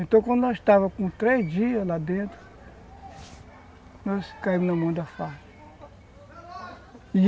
Então, quando nós estávamos com três dias lá dentro, nós caímos na mão da Farc.